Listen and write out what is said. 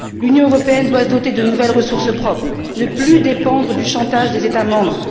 L'Union européenne doit se doter de nouvelles ressources propres, ne plus dépendre du chantage des États membres.